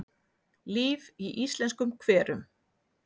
Líf í íslenskum hverum